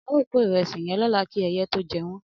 Ao ko iresi yen lola ki eye to je won